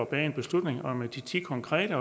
bag en beslutning om de ti konkrete